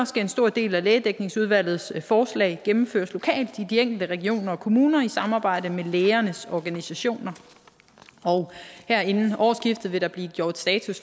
skal en stor del af lægedækningsudvalgets forslag gennemføres lokalt i de enkelte regioner og kommuner i samarbejde med lægernes organisationer og her inden årsskiftet vil der blive gjort status